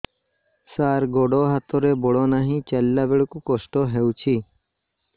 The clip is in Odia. ସାର ଗୋଡୋ ହାତରେ ବଳ ନାହିଁ ଚାଲିଲା ବେଳକୁ କଷ୍ଟ ହେଉଛି